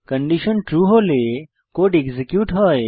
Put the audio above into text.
condition true হলে code execute হয়